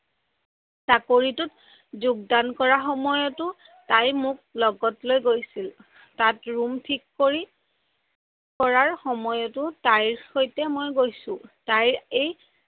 চাকৰিটোত যোগদান কৰাৰ সময়টো তাই মোক লগত লৈ গৈছিল। তাত ৰুম থিক কৰি, কৰাৰ সময়টো তাইৰ সৈতে মই গৈছো।